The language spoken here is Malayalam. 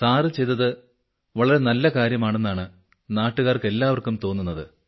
സാർ ചെയ്തത് വളരെ നല്ല കാര്യമാണെന്നാണ് നാട്ടുകാർക്ക് എല്ലാവർക്കും തോന്നുന്നത്